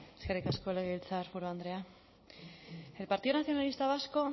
eskerrik asko legebiltzarburu andrea el partido nacionalista vasco